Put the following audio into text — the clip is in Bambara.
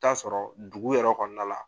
Taa'a sɔrɔ dugu yɛrɛ kɔɔna la